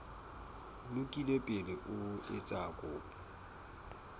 lokile pele o etsa kopo